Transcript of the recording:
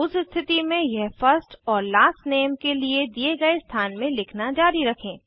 उस स्थिति में यह फर्स्ट और लास्ट नेम के लिए दिए गए स्थान में लिखना जारी रखें